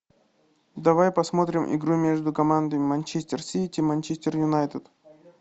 давай посмотрим игру между командами манчестер сити манчестер юнайтед